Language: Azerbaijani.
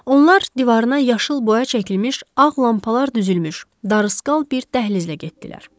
Onlar divarına yaşıl boya çəkilmiş, ağ lampalar düzülmüş darısqal bir dəhlizlə getdilər.